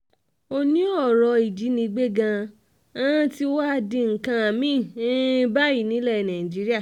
ó ní ọ̀rọ̀ ìjínigbé gan-an tí wàá di nǹkan mi-ín báyìí nílẹ̀ nàìjíríà